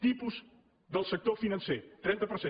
tipus del sector financer trenta per cent